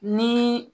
Ni